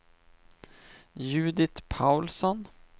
Judit Paulsson